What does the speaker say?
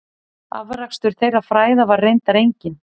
Afrakstur þeirra fræða var reyndar enginn.